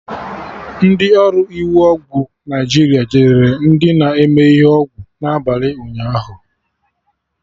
Ndị ọrụ iwu ọgwụ Naijiria jidere ndị na-eme ihe ọgwụ na abalị ụnyaahụ